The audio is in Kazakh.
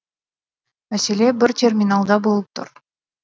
мәселе бір терминалда болып тұр